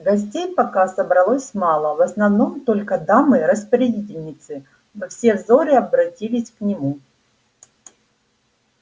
гостей пока собралось мало в основном только дамы распорядительницы но все взоры обратились к нему